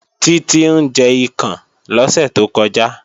Títí ń jẹ ikàn lọ́sẹ̀ tó kọjá